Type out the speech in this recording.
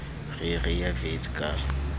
re re ye wits ka